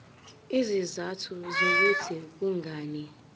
izizathu zokuthi kungani